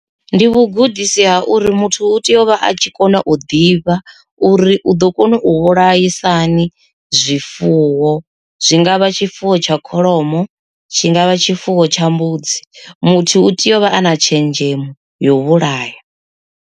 Ndi vhugudisi ha uri muthu u tea u vha a tshi kona u ḓivha uri u ḓo kona u vhulaisa hani zwifuwo. Zwi ngavha tshifuwo tsha kholomo tshi ngavha tshifuwo tsha mbudzi, muthu u tea u vha ana tshenzhemo yo vhulaya.